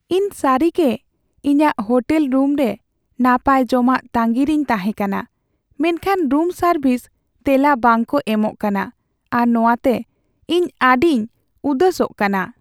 ᱤᱧ ᱥᱟᱹᱨᱤᱜᱮ ᱤᱧᱟᱹᱜ ᱦᱳᱴᱮᱞ ᱨᱩᱢ ᱨᱮ ᱱᱟᱯᱟᱭ ᱡᱚᱢᱟᱜ ᱛᱟᱸᱜᱤ ᱨᱮᱧ ᱛᱟᱦᱮ ᱠᱟᱱᱟ, ᱢᱮᱱᱠᱷᱟᱱ ᱨᱩᱢ ᱥᱟᱨᱵᱷᱤᱥ ᱛᱮᱞᱟ ᱵᱟᱝᱠᱚ ᱮᱢᱚᱜ ᱠᱟᱱᱟ ᱟᱨ ᱱᱚᱶᱟᱛᱮ ᱤᱧ ᱤᱧᱤᱧ ᱩᱫᱟᱹᱥᱚᱜ ᱠᱟᱱᱟ ᱾